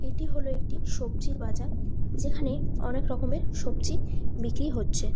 এটি হলো একটি সবজির বাজার যেখানে অনেক রকমের সবজি বিক্রি হচ্ছে ।